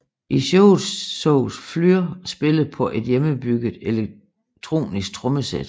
I showet sås Flür spille på et hjemmebygget elektronisk trommesæt